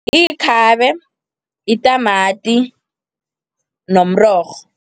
Ikhabe, yitamati nomrorho.